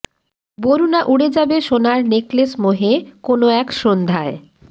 বরুণা উড়ে যাবে সোনার নেকলেস মোহে কোনো এক সন্ধ্যায়